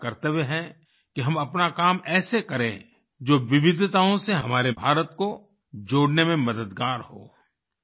ये हमारा कर्तव्य है कि हम अपना काम ऐसे करें जो विविधताओं से हमारे भारत को जोड़ने में मददगार हो